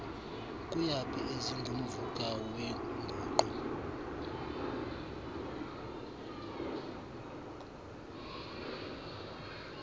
kuyaphi ezingumvuka weenguqu